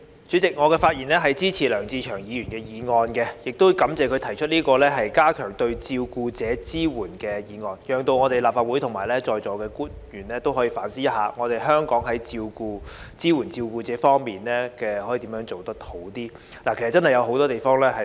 主席，我發言支持梁志祥議員的議案，亦感謝他提出"加強對照顧者的支援"議案，讓立法會及在座官員可以反思香港在支援照顧者方面如何能做得更好。